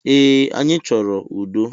Ee, anyi chọrọ udo